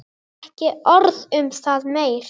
Ekki orð um það meir.